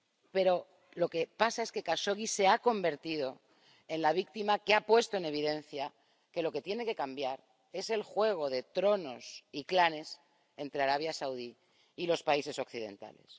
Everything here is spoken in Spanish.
Pero lo que pasa es que Jashogui se ha convertido en la víctima que ha puesto en evidencia que lo que tiene que cambiar es el juego de tronos y clanes entre Arabia Saudí y los países occidentales